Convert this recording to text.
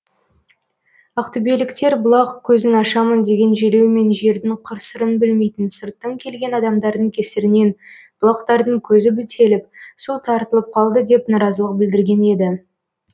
ақтөбеліктер бұлақ көзін ашамын деген желеумен жердің қыр сырын білмейтін сырттан келген адамдардың кесірінен бұлақтардың көзі бітеліп су тартылып қалды деп наразылық білдірген еді